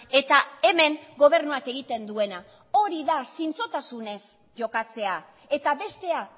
eta hemen gobernuak egiten duena hori da zintzotasunez jokatzea eta bestea